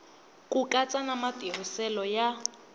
ku katsa na matirhiselo ya